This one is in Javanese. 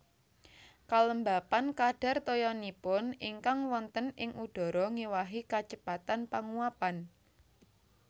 Kalembapan kadhar toyanipun ingkang wonten ing udhara ngéwahi kacepetan panguwapan